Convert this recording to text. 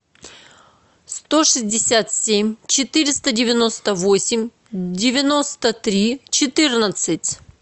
сто шестьдесят семь четыреста девяносто восемь девяносто три четырнадцать